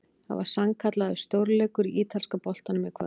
Það var sannkallaður stórleikur í ítalska boltanum í kvöld!